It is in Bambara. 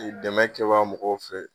Ɛ dɛmɛ kɛbaa mɔgɔw fɛ